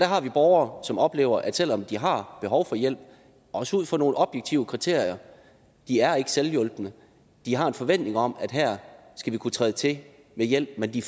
har borgere som oplever at selv om de har behov for hjælp også ud fra nogle objektive kriterier de er ikke selvhjulpne de har en forventning om at her skal vi kunne træde til med hjælp får de